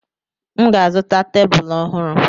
M ga-azụta tebụl ọhụrụ.